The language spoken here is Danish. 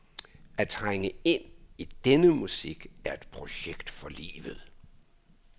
At trænge ind i denne musik er et projekt for livet.